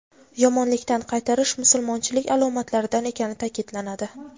yomonlikdan qaytarish musulmonchilik alomatlaridan ekani ta’kidlanadi.